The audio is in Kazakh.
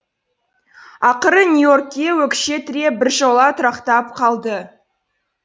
ақыры нью и оркке өкше тіреп біржола тұрақтап қалды